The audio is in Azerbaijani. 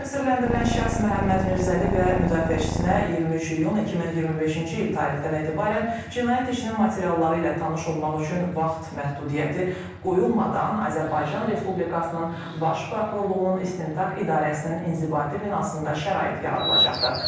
Təqsirləndirilən şəxs Məhəmməd Mirzəli və müdafiəçisinə 23 iyun 2025-ci il tarixdən etibarən cinayət işinin materialları ilə tanış olmaq üçün vaxt məhdudiyyəti qoyulmadan Azərbaycan Respublikasının Baş Prokurorluğunun İstintaq İdarəsinin inzibati binasında şərait yaradılacaqdır.